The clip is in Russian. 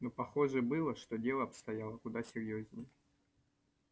но похоже было что дело обстояло куда серьёзнее